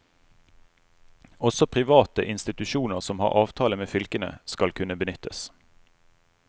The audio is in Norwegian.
Også private institusjoner som har avtale med fylkene, skal kunne benyttes.